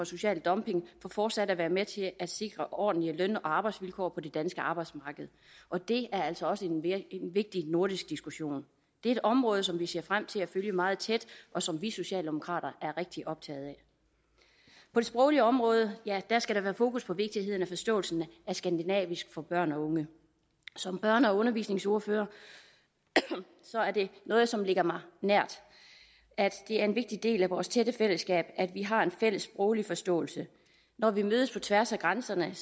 social dumping for fortsat at være med til at sikre ordentlige løn og arbejdsvilkår på det danske arbejdsmarked og det er altså også en vigtig nordisk diskussion det er et område som vi ser frem til at følge meget tæt og som vi socialdemokrater er rigtig optaget af på det sproglige område ja der skal der være fokus på vigtigheden af forståelsen af skandinavisk for børn og unge som børne og undervisningsordfører er det noget som ligger mig nært at det er en vigtig del af vores tætte fællesskab at vi har en fælles sproglig forståelse når vi mødes på tværs af grænserne er